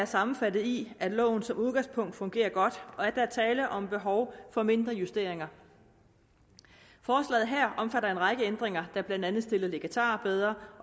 sammenfattes i at loven som udgangspunkt fungerer godt og at der er tale om et behov for mindre justeringer forslaget her omfatter en række ændringer der blandt andet stiller legatarer bedre